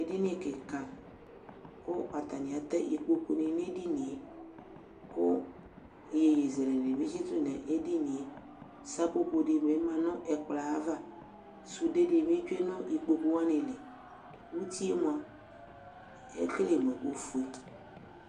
ɛdini kika ku ɑtaniate ikpoku ku iyeyezele nidu ɛdinie sɑpopodini mɑ nu ɛkploava sudedi tsue nu ikpokuli utiemoa kele nu ufuedi